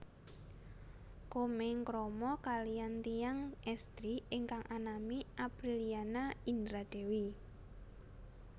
Komeng krama kaliyan tiyang estri ingkang anami Aprilliana Indra Dewi